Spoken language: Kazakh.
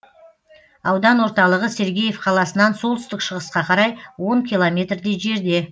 аудан орталығы сергеев қаласынан солтүстік шығысқа қарай он километрдей жерде